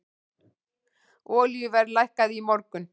Olíuverð lækkaði í morgun.